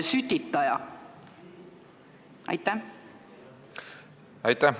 Aitäh!